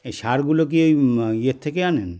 এই সারগুলো কী মা ইয়ের থেকে আনেন